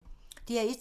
DR1